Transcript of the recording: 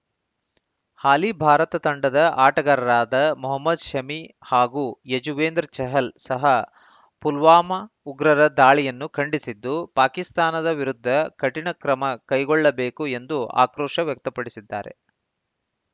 ಹಾಲಿ ಭಾರತ ತಂಡದ ಆಟಗಾರರಾದ ಮೊಹಮದ್‌ ಶಮಿ ಹಾಗೂ ಯಜುವೇಂದ್ರ ಚಹಲ್‌ ಸಹ ಪುಲ್ವಾಮ ಉಗ್ರರ ದಾಳಿಯನ್ನು ಖಂಡಿಸಿದ್ದು ಪಾಕಿಸ್ತಾನದ ವಿರುದ್ಧ ಕಠಿಣ ಕ್ರಮ ಕೈಗೊಳ್ಳಬೇಕು ಎಂದು ಆಕ್ರೋಶ ವ್ಯಕ್ತಪಡಿಸಿದ್ದಾರೆ